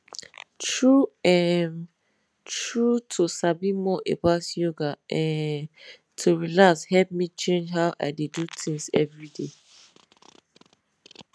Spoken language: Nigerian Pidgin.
true um true to sabi more about yoga um to relax help me change how i dey do things every day